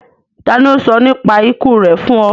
Tàni o sọ nípa iku rẹ fun ọ?